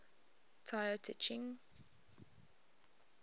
tao te ching